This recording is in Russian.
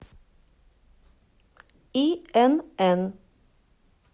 инн